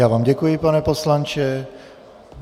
Já vám děkuji, pane poslanče.